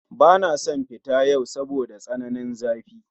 Bana son fita yau saboda tsananin zafi